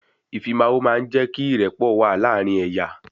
Ìfimawo máa ń jé kí ìrẹ́pọ̀ wà láàárín ẹ̀yà